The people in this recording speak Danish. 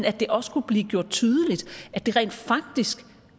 at det også kunne blive gjort tydeligt at det rent faktisk